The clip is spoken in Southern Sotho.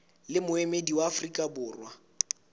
le moemedi wa afrika borwa